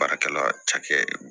Baarakɛla cakɛ